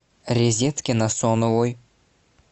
резедке насоновой